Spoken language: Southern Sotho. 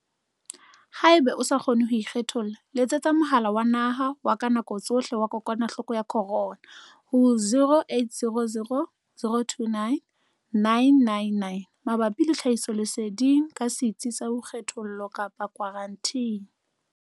Haeba o sa kgone ho ikgetholla, letsetsa Mohala wa Naha wa ka Nako Tsohle wa Kokwanahloko ya Corona ho 0800 029 999 mabapi le tlhahisoleseding ka setsi sa boikgethollo kapa khwaranteni.